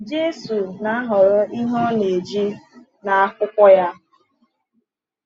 Jésù na-ahọrọ ihe ọ na-eji n’akwụkwọ ya.